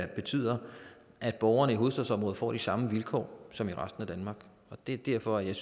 betyder at borgerne i hovedstadsområdet får de samme vilkår som i resten af danmark det er derfor jeg